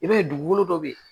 I b'a ye dugukolo dɔ bɛ yen